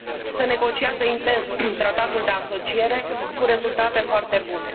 Se negociază intens tratatul de asociere, cu rezultate foarte bune.